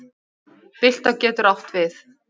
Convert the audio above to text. Bylta getur átt við